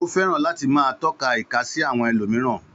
Ó fẹ́ràn láti máa tọ́ka ìka sí àwọn ẹlòmíràn.